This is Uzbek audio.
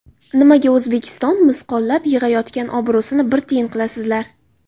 Nimaga O‘zbekiston misqollab yig‘ayotgan obro‘sini bir tiyin qilasizlar?